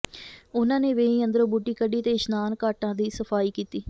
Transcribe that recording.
ਉਨ੍ਹਾਂ ਨੇ ਵੇਈਂ ਅੰਦਰੋਂ ਬੂਟੀ ਕੱਢੀ ਤੇ ਇਸ਼ਨਾਨ ਘਾਟਾਂ ਦੀ ਸਫਾਈ ਕੀਤੀ